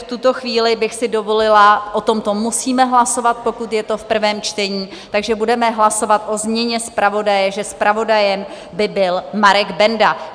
V tuto chvíli bych si dovolila, o tomto musíme hlasovat, pokud je to v prvém čtení, takže budeme hlasovat o změně zpravodaje, že zpravodajem by byl Marek Benda.